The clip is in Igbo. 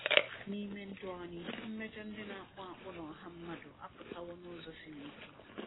N’ime ndụ anyị, mmejọ ndị na-akpụ akpụ n’ọha mmadụ apụtawo n’ụzọ siri ike.